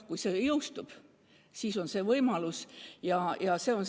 Kui see seadus jõustub, siis see võimalus on.